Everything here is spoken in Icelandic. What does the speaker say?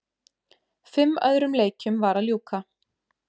Fimm öðrum leikjum var að ljúka